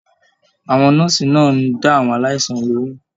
Àwọn nọ́ọ́sí náà n dá àwọn aláìsàn lohùn.